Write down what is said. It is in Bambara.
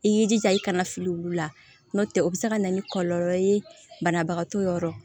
I y'i jija i kana fili olu la n'o tɛ o bɛ se ka na ni kɔlɔlɔ ye banabagato yɔrɔ